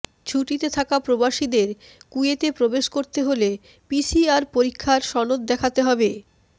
ছুটিতে থাকা প্রবাসীদের কুয়েতে প্রবেশ করতে হলে পিসিআর পরীক্ষার সনদ দেখাতে হবে